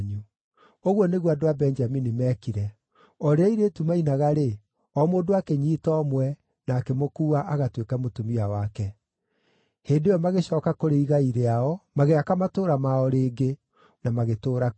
Ũguo nĩguo andũ a Benjamini meekire. O rĩrĩa airĩtu maainaga-rĩ, o mũndũ akĩnyiita ũmwe, na akĩmũkuua agatuĩke mũtumia wake. Hĩndĩ ĩyo magĩcooka kũrĩ igai rĩao, magĩaka matũũra mao rĩngĩ, na magĩtũũra kuo.